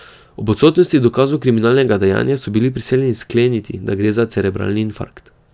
Ob odsotnosti dokazov kriminalnega dejanja so bili prisiljeni skleniti, da gre za cerebralni infarkt.